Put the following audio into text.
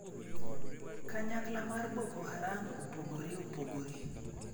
Kanyakla mar Boko Haram opogore opogore